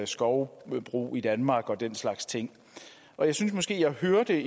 skovbrug i danmark og den slags ting jeg synes måske at jeg hørte